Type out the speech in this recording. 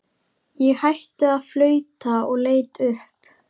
Ég hætti að flauta og leit upp.